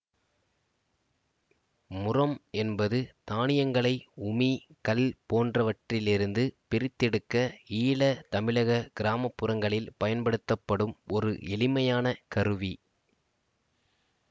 முறம் என்பது தானியங்களை உமி கல் போன்றவற்றிலிருந்து பிரித்தெடுக்க ஈழ தமிழக கிராம புறங்களில் பயன்படுத்தப்படும் ஒரு எளிமையான கருவி